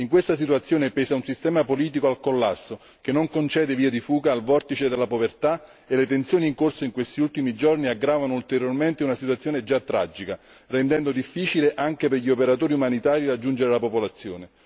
In questa situazione pesa un sistema politico al collasso, che non concede vie di fuga al vortice della povertà, e le tensioni in corso in questi ultimi giorni aggravano ulteriormente una situazione già tragica, rendendo difficile anche per gli operatori umanitari raggiungere la popolazione.